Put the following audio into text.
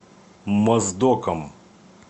моздоком